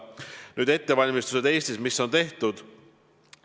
Nüüd ettevalmistustest, mis on Eestis tehtud.